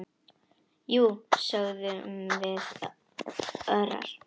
Jú, sögðum við örar.